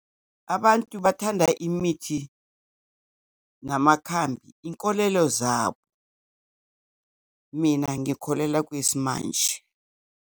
Abantu bathanda imithi namakhambi, inkolelo zabo. Mina ngikholelwa kwismanje.